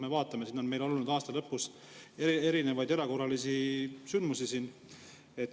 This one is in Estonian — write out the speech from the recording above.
Me vaatame, et meil on olnud aasta lõpus erinevaid erakorralisi sündmusi.